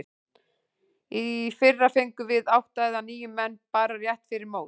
Í fyrra fengum við átta eða níu menn bara rétt fyrir mót.